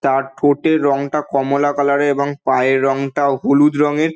তার ঠোঁটের রঙটা কমলা কালার এর এবং পায়ের রঙটা হলুদ রঙের।